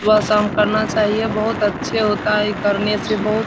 सुबह शाम करना चहिए बहुत अच्छे होता है इ करने से बहुत --